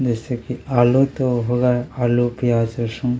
-- जैसे की आलू तो होगा आलू प्याज लस्सन। ।